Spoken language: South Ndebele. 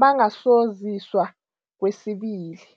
bangasoziswa kwesibili.